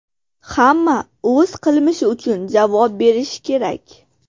Hamma o‘z qilmishi uchun javob berishi kerak.